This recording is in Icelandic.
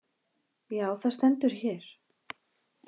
Já, það stendur hér.